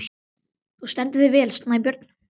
Þú stendur þig vel, Snæbjörn!